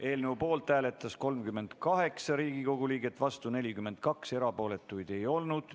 Eelnõu poolt hääletas 38 Riigikogu liiget, vastu oli 42, erapooletuid ei olnud.